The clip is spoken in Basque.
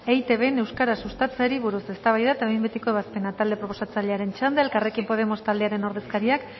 eitbn euskara sustatzeari buruz eztabaida eta behin betiko ebazpena talde proposatzailearen txanda elkarrekin podemos taldearen ordezkariak